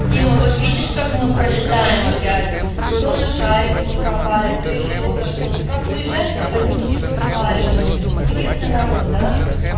дима вот видишь как мы пролетаем опять то на шарики не попали то ещё на что-то как уезжаем так они тут фестивали мутят интересный народ да